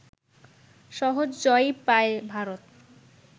সহজ জয়ই পায় ভারত